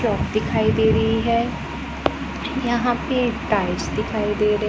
दिखाई दे रही है यहां पे टाइल्स दिखाई दे र--